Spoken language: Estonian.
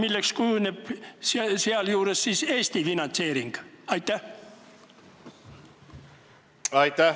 Milliseks kujuneb sealjuures Eesti finantseering?